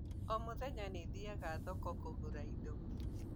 O mũthenya nĩĩ thiaga thoko kũgũra indo